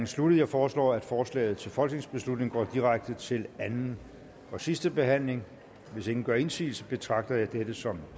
sluttet jeg foreslår at forslaget til folketingsbeslutning går direkte til anden og sidste behandling hvis ingen gør indsigelse betragter jeg dette som